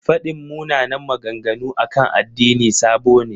Faɗin munanan maganganu akan addini sabo ne.